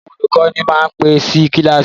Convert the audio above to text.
Àwọn olùkọ́ni máa ń pẹ́ sí kíláàsì.